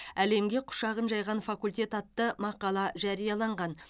әлемге құшағын жайған факультет атты мақала жарияланған